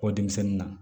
Bɔ denmisɛnnin na